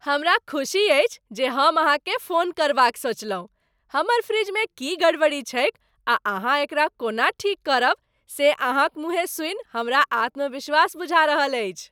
हमरा खुसी अछि जे हम अहाँकेँ फोन करबाक सोचलहुँ। हमर फ्रिजमे की गड़बड़ी छैक आ अहाँ एकरा कोना ठीक करब, से अहाँ क मुँहें सूनि हमरा आत्मविश्वास बुझा रहल अछि।